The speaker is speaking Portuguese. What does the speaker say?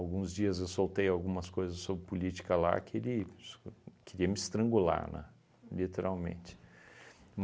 dias eu soltei algumas coisas sobre política lá que sh ele queria me estrangular, né, literalmente.